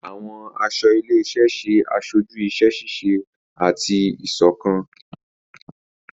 Àwọn aṣọ ilé-iṣẹ ṣe aṣoju iṣẹ-ṣiṣe ati iṣọkan.